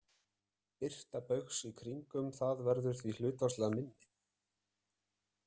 Birta baugs í kringum það verður því hlutfallslega minni.